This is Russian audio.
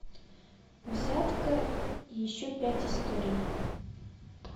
взятка и еще пять историй